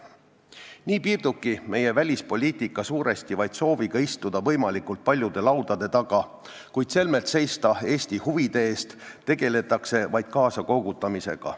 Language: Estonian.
Nii piirdubki meie välispoliitika suuresti vaid sooviga istuda võimalikult paljude laudade taga, kuid selmet seista Eesti huvide eest, tegeletakse kaasakoogutamisega.